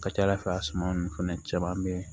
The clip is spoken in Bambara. Ka ca ala fɛ a suma nunnu fɛnɛ caman be yen